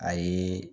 A ye